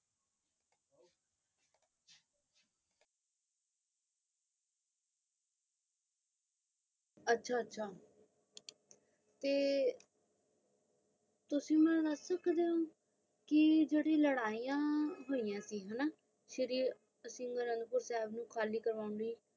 ਅੱਛਾ ਅੱਛਾ ਤੇ ਤੁਸੀ ਮੈਂ ਦਾਸ ਸਕਦੇ ਹ ਕ ਜੈਰੀ ਲੜਾਈਆਂ ਹੋਈਆਂ ਸੀ ਹੈਨਾ ਖਾਲੀ ਕਰਨ ਲਈ